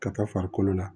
Ka taa farikolo la